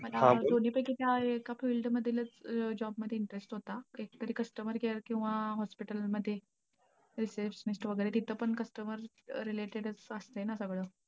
दोन्ही पैकी त्या एका field मधीलचं job मध्ये interest होता. एकतरी customer care किंवा अं hospital मध्ये receptionist तिथं पण customer related चं असतंय ना सगळं.